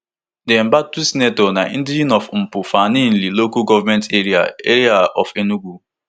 di embattled senator na indigene of mpu for aninri local govment area area of enugu